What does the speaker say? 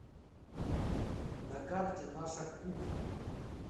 на карте наша кухня